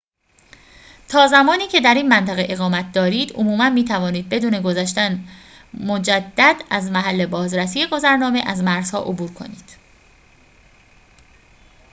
تا زمانی که در این منطقه اقامت دارید عموماً می‌توانید بدون گذشتن مجدد از محل بازرسی گذرنامه از مرزها عبور کنید